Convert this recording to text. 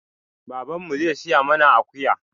Baban mu zai siya mana akuya.